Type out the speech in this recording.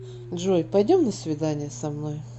джой пойдем на свидание со мной